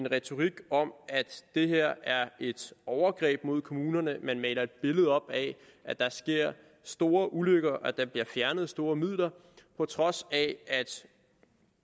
retorik om at det her er et overgreb mod kommunerne man maler et billede op af at der sker store ulykker og at der bliver fjernet store midler på trods af at